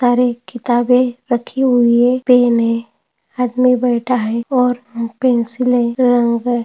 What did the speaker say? तारे किताबे रखी हुई है पेन है आदमी बैठा है और पेन्सिले रंग है।